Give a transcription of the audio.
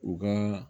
U ka